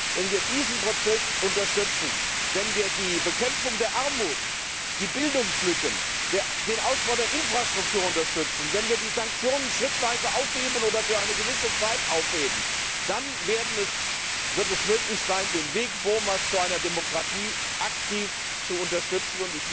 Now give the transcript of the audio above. Wenn wir diesen Prozess unterstützen, wenn wir die Bekämpfung der Armut, der Bildungslücken, den Ausbau der Infrastruktur unterstützen, wenn wir die Sanktionen schrittweise aufheben oder für eine gewisse Zeit aufheben, dann wird es möglich sein, den Weg Burmas zu einer Demokratie aktiv zu unterstützen.